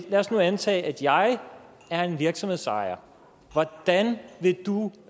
lad os nu antage at jeg er en virksomhedsejer hvordan